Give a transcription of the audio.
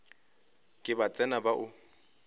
ke ba tsena ba o